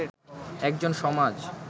একজন সমাজ